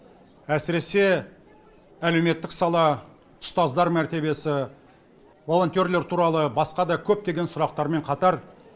әсіресе әлеуметтік сала ұстаздар мәртебесі волонтерлер туралы басқа да көптеген сұрақтармен қатар